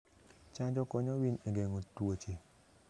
Chanjo konyo winy e geng'o tuoche.